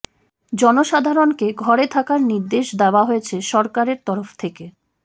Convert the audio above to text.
জনসাধারণকে ঘরে থাকার নির্দেশ দেওয়া হয়েছে সরকারের তরফ থেকে